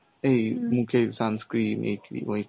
এই মুখে sunscreen, এই cream, ওই cream.